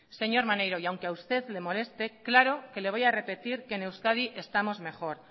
señor maneiro y aunque a usted le moleste claro que le voy a repetir que en euskadi estamos mejor